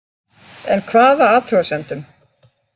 En hvaða athugasemdum